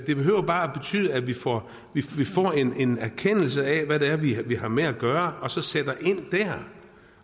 det behøver bare betyde at vi får en erkendelse af hvad det er vi vi har med at gøre og så sætter ind dér